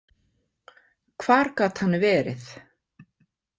Hvar gat hann verið?